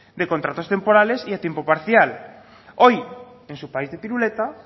de contratos temporales y de tiempo parcial hoy en su país de piruleta